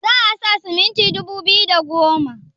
za a sa siminti dubu biyu da da goma